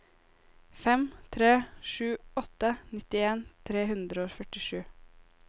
fem tre sju åtte nittien tre hundre og førtisju